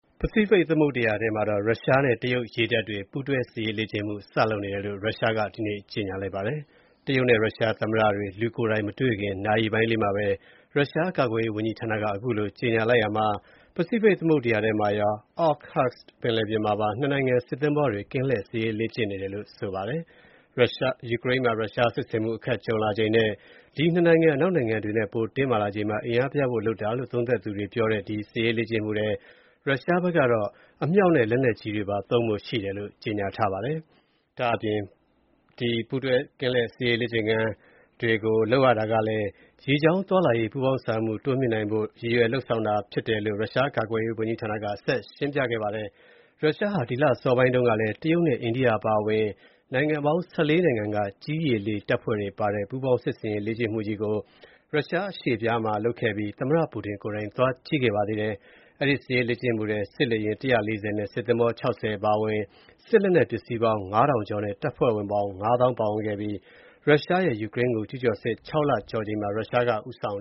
ပစိဖိတ် သမုဒ္ဒရာထဲ ရုရှားနဲ့ တရုတ်ရေတပ်တွေ ပူးတွဲ စစ်ရေးလေ့ကျင့်မှု စလုပ်နေတယ်လို့ ရုရှားက ဒီနေ့ ကြေညာလိုက်ပါတယ်။ တရုတ်-ရုရှား သမ္မတတွေ လူကိုယ်တိုင်မတွေ့ခင် နာရီပိုင်းလေးမှာပဲ ရုရှားကာကွယ်ရေးဌာနက အခုလို ကြေညာရာမှာ ပစိဖိတ်သမုဒ္ဒရာထဲမှာရော၊ Okhotsk ပင်လယ်ပြင်မှာပါ နှစ်နိုင်ငံ စစ်သင်္ဘောတွေ ကင်းလှည့်စစ်ရေးလေ့ကျင့်နေတယ်လို့ ဆိုပါတယ်။ ယူကရိန်းမှာ ရုရှားစစ်ဆင်မှု အခက်ကြုံလာချိန်နဲ့ ဒီ ၂ နိုင်ငံနဲ့ အနောက်နိုင်ငံတွေ ပိုတင်းမာလာချိန်မှာ အင်အားပြဖု့ိလုပ်တာလို့ သုံးသပ်သူတွေပြောတဲ့ ဒီ စစ်ရေးလေ့ကျင့်မှုထဲ၊ ရုရှားဘက်ကတော့ အမြှောက်တွေပါ သုံးဖို့ရှိတယ်လို့ ကြေညာထားပါတယ်။ ဒါ့အပြင် ပူးတွဲ ကင်းလှည့်စစ်ရေးလေ့ကျင့်မှုတွေကိုလည်း ရေကြောင်းသွားလာရေး ပူးပေါင်းဆောင်ရွက်မှုတွေ တိုးမြှင့်နိုင်ဖို့ ရည်ရွယ်လုပ်ဆောင်တာ ဖြစ်တယ်လို့ ရုရှား ကာကွယ်ရေးဌာနက ဆက်ရှင်းပြခဲ့ပါတယ်။ ရုရှားဟာ ဒီလ အစောပိုင်းတုန်းကလည်း တရုတ်နဲ့ အိန္ဒိယ အပါအဝင် နိုင်ငံပေါင်း ၁၄ နိုင်ငံက ကြည်းရေလေ တပ်ဖွဲ့တွေပါတဲ့ ပူးပေါင်းစစ်ရေး လေ့ကျင့်မှုကြီးကို ရုရှားအရှေ့ဖျားဒေသမှာ လုပ်ခဲ့ပြီး၊ သမ္မတ ပူတင်ကိုယ်တိုင် သွားကြည့်ခဲ့ပါတယ်။ အဲ့ဒီ စစ်ရေးလေ့ကျင့်မှုထဲ စစ်လေယာဉ် ၁၄၀ နဲ့ စစ်သင်္ဘော ၆၀ အပါအဝင် စစ်လက်နက်ပစ္စည်းပေါင်း ၅,၀၀၀ ကျော်နဲ့ တပ်ဖွဲ့ဝင်ပေါင်း ၅၀,၀၀၀ ပါဝင်ခဲ့ပြီး၊ ရုရှားရဲ့ ယူကရိန်းကို ကျူးကျော်စစ် ၆ လကျော်ချိန်မှာ ရုရှားက ဦးဆောင်